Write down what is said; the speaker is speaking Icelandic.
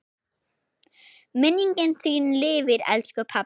Minning þín lifir, elsku pabbi.